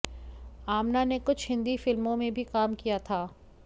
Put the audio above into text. आमना ने कुछ हिंदी फिल्मों में भी काम किया था